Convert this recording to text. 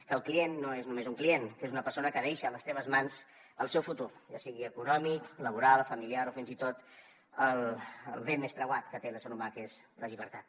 que el client no és només un client que és una persona que deixa a les teves mans el seu futur ja sigui econòmic laboral familiar o fins i tot el bé més preuat que té l’ésser humà que és la llibertat